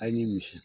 A' ni misi